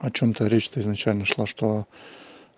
о чем-то речь-то изначально шла что